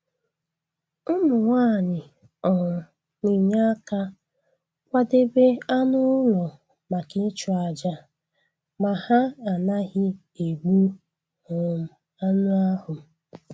Ụmụ nwanyị um na-enye aka kwadebe anụ ụlọ maka ịchụ àjà ma ha anaghị egbu um anụ ahụ.